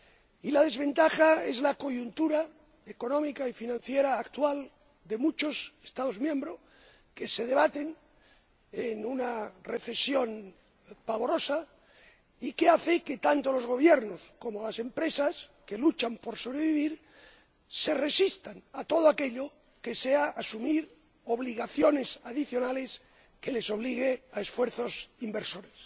Y la desventaja es la coyuntura económica y financiera actual de muchos Estados miembros que se debaten en una recesión pavorosa, que hace que tanto los Gobiernos como las empresas, que luchan por sobrevivir, se resistan a todo aquello que sea asumir obligaciones adicionales que les obliguen a esfuerzos inversores.